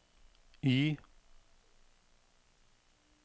Y